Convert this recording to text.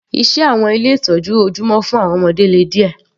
Iṣẹ́ àwọn ilé ìtọ́jú ojúmọ́ fún àwọn ọmọdé le díẹ̀.